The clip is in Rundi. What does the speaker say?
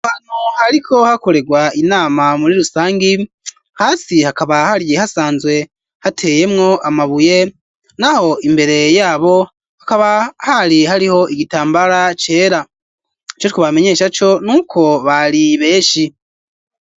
Ahantu hariko hakoregwa inama muri rusangi, hasi hakaba hariye hasanzwe hateyemwo amabuye, naho imbere yabo hakaba hari hariho igitambara cera, ico twobamenyesha co n'uko bari benshi.